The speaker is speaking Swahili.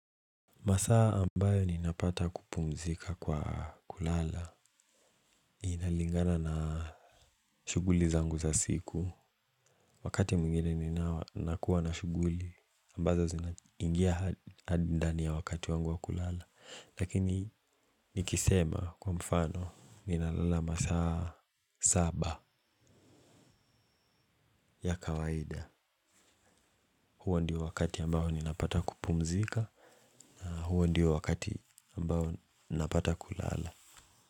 Masaa ambayo ninapata kupumzika kwa kulala iinalingana na shughuli zangu za siku. Wakati mwingine nina kuwa na shughuli ambazo zinaingia hadi ndani ya wakati wangu wa kulala. Lakini nikisema kwa mfano ninalala masaa saba ya kawaida. Huo ndio wakati ambayo ninapata wa kupumzika. Huo ndio wakati ambayo napata kulala.